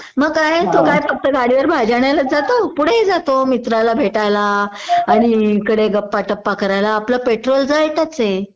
मग काय तो फक्त भाजी आणायलाच जातो? पुढेही जातो आपल्या मित्राला भेटायला आणि इकडे गप्पा टप्पा करायला आणि आपलं पेट्रोल जळतच आहे